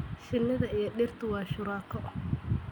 Shinida iyo dhirtu waa shuraako.